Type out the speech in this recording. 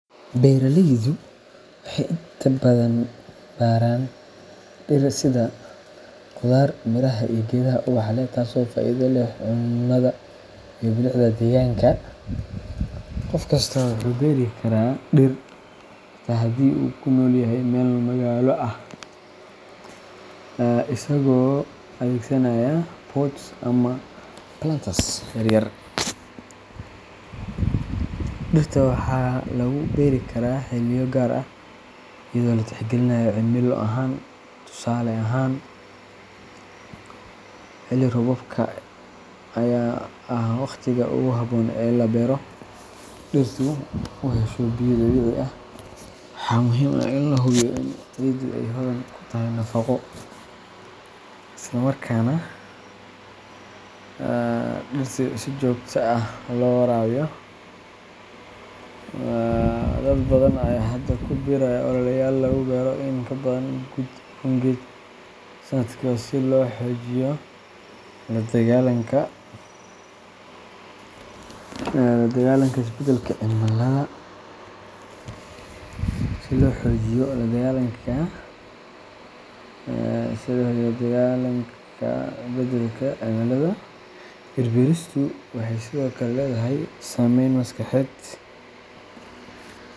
Beeraleydu waxay inta badan beeraan dhir sida khudaar, miraha, iyo geedaha ubaxa leh, taasoo faa’iido u leh cunnada iyo bilicda deegaanka. Qof kasta wuxuu beeri karaa dhir, xitaa haddii uu ku nool yahay meel magaalo ah, isagoo adeegsanaya pots ama planters yar yar. Dhirta waxaa lagu beeri karaa xilliyo gaar ah iyadoo la tixgelinayo cimilo ahaan. Tusaale ahaan, xilli roobaadka ayaa ah waqtiga ugu habboon ee la beero si dhirtu u hesho biyo dabiici ah. Waxaa muhiim ah in la hubiyo in ciiddu ay hodan ku tahay nafaqo, islamarkaana dhirta si joogto ah loo waraabiyo. Dad badan ayaa hadda ku biiraya ololeyaal lagu beero in ka badan kun geed sanadkiiba si loo xoojiyo la dagaalanka isbeddelka cimilada. Dhir-beeristu waxay sidoo kale leedahay saameyn maskaxeed.